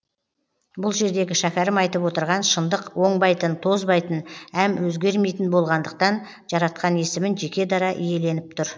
бұл жердегі шәкәрім айтып отырған шындық оңбайтын тозбайтын әм өзгермейтін болғандықтан жаратқан есімін жеке дара иеленіп тұр